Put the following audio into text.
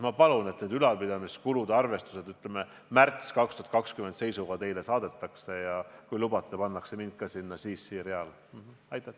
Ma palungi, et need ülalpidamiskulude arvestused 2020. aasta märtsi seisuga teile saadetaks, ja kui lubate, siis lasen ka end sinna CC-reale panna.